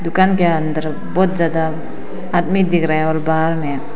दुकान के अंदर बहुत ज्यादा आदमी दिख रहे हैं और बाहर में--